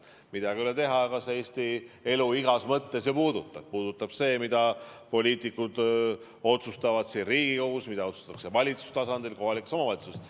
Midagi ei ole teha, aga see puudutab Eesti elu ju igas mõttes, mida poliitikud otsustavad siin Riigikogus, mida otsustatakse valitsuse tasandil, kohalikus omavalitsuses.